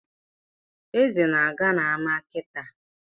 Eze na-aga n’ama kịtaa